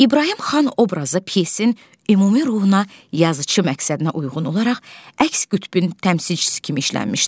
İbrahim xan obrazı pyesin ümumi ruhuna, yazıçı məqsədinə uyğun olaraq əks qütbün təmsilçisi kimi işlənmişdir.